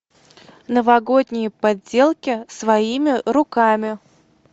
новогодние поделки своими руками